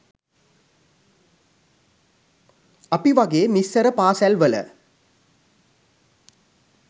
අපි වගේ මිස්සර පාසැල් වල